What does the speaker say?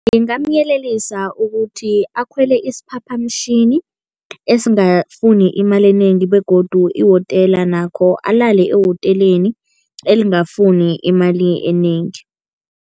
Ngingamyelelisa ukuthi akhwele isiphaphamtjhini esingafuni imali enengi begodu ihotela nakho, alale ehoteleni elingafuni imali enengi.